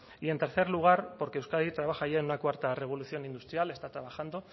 y en tercer lugar porque euskadi trabaja ya en una cuarta revolución industrial está trabajando